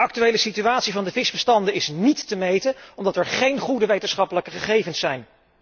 De actuele situatie van de visbestanden is niet te meten, omdat er geen goede wetenschappelijke gegevens zijn.